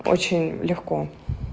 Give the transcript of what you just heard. очень легко